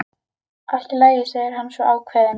Allt í lagi, segir hann svo ákveðinn.